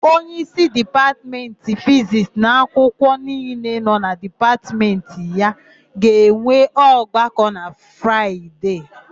Onyeísí Dipatmentị Fizisti na ụmụakwụkwọ niile nọ na Dipatmentị ya ga-enwe ọgbakọ na Fraịde.